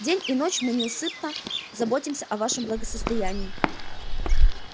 день и ночь мы неусыпно заботимся о вашем благосостоянии